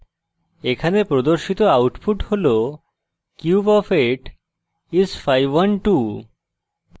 এখানে প্রদর্শিত output হল cube of 8 is 512